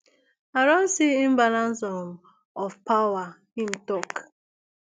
i don see imbalance um of power im tok